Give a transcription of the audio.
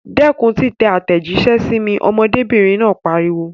Dẹ́kun títẹ àtẹ̀jíṣẹ́ sí mi! Ọmọdébìnrin náà pariwo.